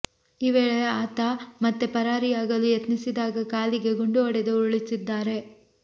ಈ ವೇಳೆ ಆತ ಮತ್ತೆ ಪರಾರಿಯಾಗಲು ಯತ್ನಿಸಿದಾಗ ಕಾಲಿಗೆ ಗುಂಡು ಹೊಡೆದು ಉರುಳಿಸಿದ್ದಾರೆ